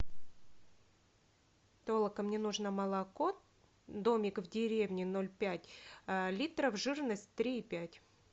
толока мне нужно молоко домик в деревне ноль пять литров жирность три и пять